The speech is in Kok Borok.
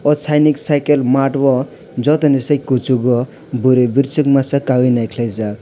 o sanik cycle mart yo joto ni silei kosog o burui burisok masa kaioe naikelai jak.